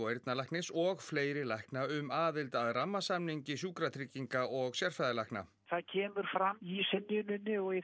eyrnalæknis og fleiri lækna um aðild að rammasamningi Sjúkratrygginga og sérfræðilækna það kemur fram í synjuninni og í